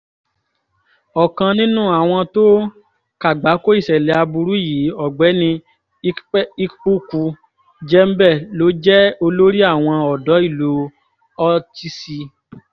ọ̀kan nínú àwọn tó kàgbákò ìṣẹ̀lẹ̀ aburú yìí ọ̀gbẹ́ni ikpuku jembe ló jẹ́ olórí àwọn ọ̀dọ́ ìlú ortese